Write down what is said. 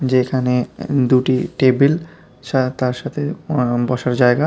যেখানে দুটি টেবিল শা তার সাথে অ বসার জায়গা।